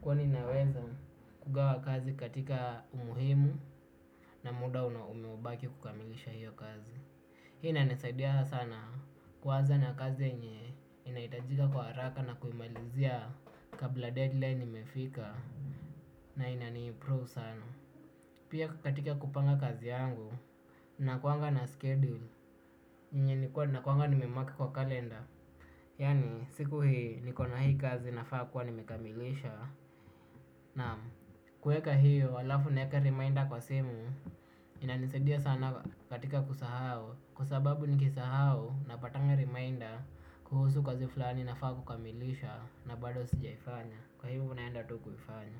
kwani naweza kugawa kazi katika umuhimu na muda umeobaki kukamilisha hiyo kazi. Hii inanisaidia sana kuanza na kazi yenye inahitajika kwa haraka na kuimalizia kabla deadline imefika na inaniimprove sana. Pia katika kupanga kazi yangu, nakuanga na schedule yenye nikuwa nakuanga nimemark kwa kalenda. Yaani siku hii niko na hii kazi nafaa kuwa nimekamilisha. Naam, kueka hiyo alafu naeka reminder kwa simu inanisaidia sana katika kusahau. Kwa sababu nikisahau napatanga reminder kuhusu kazi fulani nafaa kukamilisha na bado sijaifanya. Kwa hivyo naenda tu kuifanya.